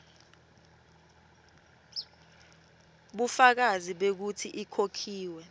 bufakazi bekutsi ikhokhiwe